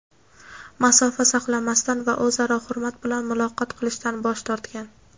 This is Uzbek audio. masofa saqlamasdan va o‘zaro hurmat bilan muloqot qilishdan bosh tortgan.